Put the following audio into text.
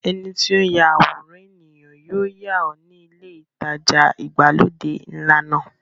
Ẹni tí ó ń ya àwòrán ènìyàn yóò yà ọ́ ní ilé ìtajà ìgbàlódé ńlá náà.